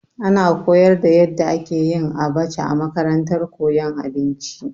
Ana koyar da yadda ake yin abacha a makarantar koyon abinci.